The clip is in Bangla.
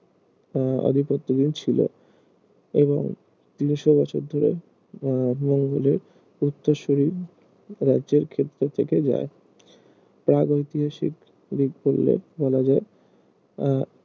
আহ আধিপত্যহীন ছিল এবং তিনশো বছর ধরে আহ মঙ্গোলের উত্তরসূরি রাজ্যের ক্ষেত্রে থেকে যায় প্রাগৈতিহাসিক বলা যায় আহ